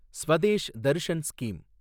Swadesh Darshan scheme